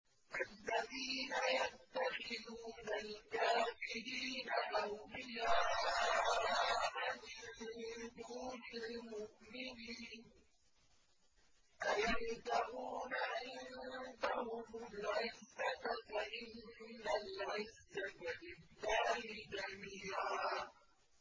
الَّذِينَ يَتَّخِذُونَ الْكَافِرِينَ أَوْلِيَاءَ مِن دُونِ الْمُؤْمِنِينَ ۚ أَيَبْتَغُونَ عِندَهُمُ الْعِزَّةَ فَإِنَّ الْعِزَّةَ لِلَّهِ جَمِيعًا